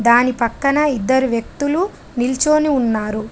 దాని పక్కన ఇద్దరు వ్యక్తులు నిల్చోని ఉన్నారు.